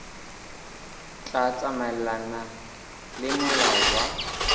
tla tsamaelana le molao wa